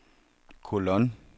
kolon